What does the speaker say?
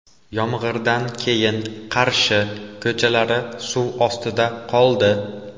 Yomg‘irdan keyin Qarshi ko‘chalari suv ostida qoldi .